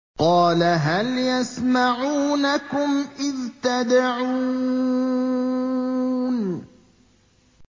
قَالَ هَلْ يَسْمَعُونَكُمْ إِذْ تَدْعُونَ